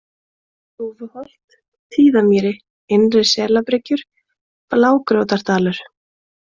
Þúfuholt, Tíðamýri, Innri-Selabryggjur, Blágjótardalur